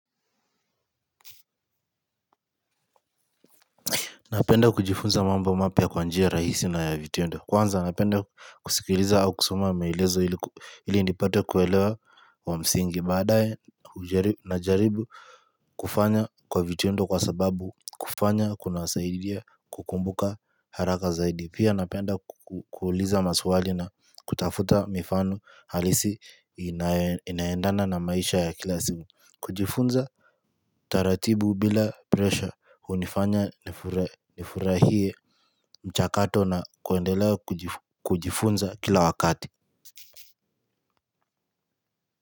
Napenda kujifunza mambo mapya kwa njia rahisi na ya vitendo. Kwanza napenda kusikiliza au kusoma maelezo ili nipate kuelewa wa msingi. Baadae najaribu kufanya kwa vitendo kwa sababu kufanya kuna saidia kukumbuka haraka zaidi. Pia napenda kukuliza maswali na kutafuta mifano halisi inayoendana na maisha ya kila siku. Kujifunza taratibu bila presha hunifanya nifurahie mchakato na kuendelea kujifunza kila wakati.